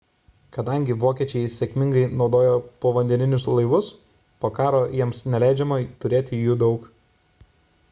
kadangi vokiečiai sėkmingai naudojo povandeninius laivus po karo jiems neleidžiama turėti jų daug